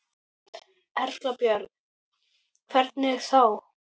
Erla Björg: Hvernig þá?